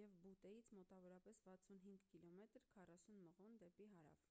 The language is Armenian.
և բուտեից մոտավորապես 65 կմ 40 մղոն դեպի հարավ: